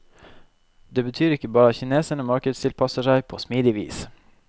Det betyr ikke bare at kineserne markedstilpasser seg på smidig vis.